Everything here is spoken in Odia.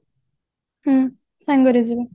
ହଁ ସାଙ୍ଗରେ ଯିବା